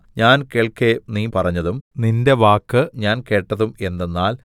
ഞാൻ കേൾക്കെ നീ പറഞ്ഞതും നിന്റെ വാക്ക് ഞാൻ കേട്ടതും എന്തെന്നാൽ